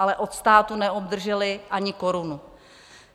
Ale od státu neobdržely ani korunu.